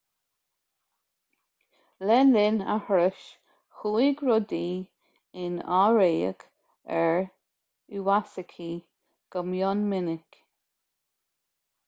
le linn a thurais chuaigh rudaí in aimhréidh ar iwasaki go mion minic